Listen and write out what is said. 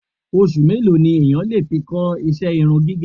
Oṣù mélòó ni èèyàn lè fi kọ́ ìṣe irun gígẹ̀?